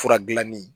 Fura dilanni